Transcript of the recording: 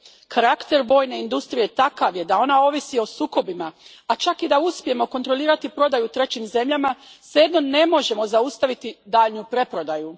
Karakter vojne industrije takav je da ona ovisi o sukobima, a čak i da uspijemo kontrolirati prodaju trećim zemljama, svejedno ne možemo zaustaviti daljnju preprodaju.